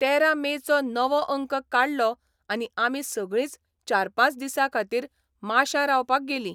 तेरा मेचो नवो अंक काडलो आनी आमी सगळींच चार पांच दिसां खातीर माश्यां रावपाक गेलीं.